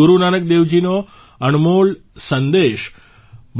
ગુરુ નાનક દેવજીનો અણમોલ સંદેશ